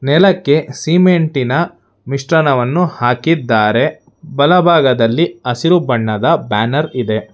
ನೆಲಕ್ಕೆ ಸಿಮೆಂಟಿನ ಮಿಶ್ರಣವನ್ನು ಹಾಕಿದ್ದಾರೆ ಬಲಭಾಗದಲ್ಲಿ ಹಸಿರು ಬಣ್ಣದ ಬ್ಯಾನರ್ ಇದೆ.